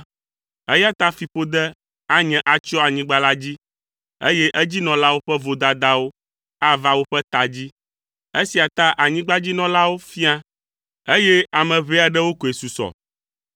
eya ta fiƒode anye atsyɔ anyigba la dzi, eye edzinɔlawo ƒe vodadawo ava woƒe ta dzi. Esia ta anyigbadzinɔlawo fia, eye ame ʋɛ aɖewo koe susɔ.